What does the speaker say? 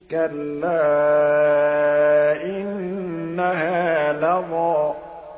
كَلَّا ۖ إِنَّهَا لَظَىٰ